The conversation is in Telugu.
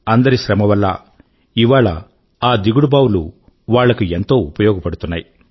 అందరి శ్రమ వల్లా ఇవాళ ఆ దిగుడు బావులు వాళ్లకు ఎంతో ఉపయోగపడుతున్నాయి